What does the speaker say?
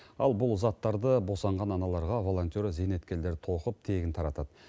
ал бұл заттарды босанған аналарға волонтер зейнеткерлер тоқып тегін таратады